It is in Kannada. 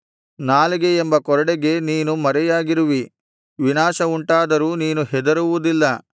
ನಾಲಿಗೆಯೆಂಬ ಕೊರಡೆಗೆ ನೀನು ಮರೆಯಾಗಿರುವಿ ವಿನಾಶವುಂಟಾದರೂ ನೀನು ಹೆದರುವುದಿಲ್ಲ